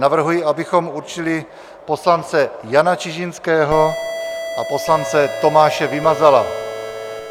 Navrhuji, abychom určili poslance Jana Čižinského a poslance Tomáše Vymazala.